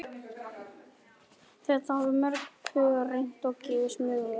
Þetta hafa mörg pör reynt og gefist mjög vel.